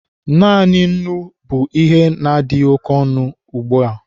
Naanị nnu bụ ihe adịghị oke ọnụahịa ugbua.